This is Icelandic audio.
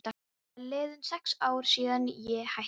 Það eru liðin sex ár síðan ég hætti.